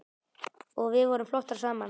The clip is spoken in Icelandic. Og við vorum flottar saman.